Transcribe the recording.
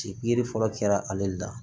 pikiri fɔlɔ kɛra ale le la